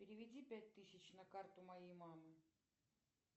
переведи пять тысяч на карту моей мамы